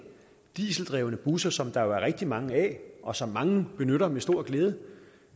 dieseldrevne busser som der jo er rigtig mange af og som mange benytter med stor glæde